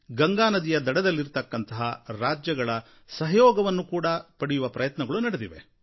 ಗಂಗಾ ನದಿಯ ದಡದಲ್ಲಿರುವ ರಾಜ್ಯಗಳ ಸಹಯೋಗವನ್ನೂ ಪಡೆಯುವ ಪ್ರಯತ್ನಗಳೂ ನಡೆದಿವೆ